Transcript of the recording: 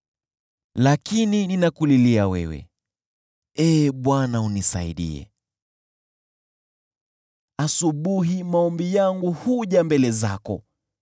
Lakini ninakulilia wewe, Ee Bwana , unisaidie; asubuhi maombi yangu huja mbele zako.